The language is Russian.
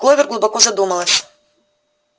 кловер глубоко задумалась